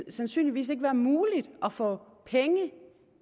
sandsynligvis ikke være muligt at få penge